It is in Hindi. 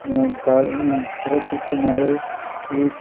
यहाँ गाडी सड़क के किनारे एक--